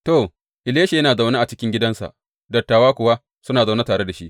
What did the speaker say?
To, Elisha yana zaune a cikin gidansa, dattawa kuwa suna zaune tare da shi.